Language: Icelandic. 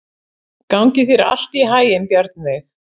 Gangi þér allt í haginn, Bjarnveig.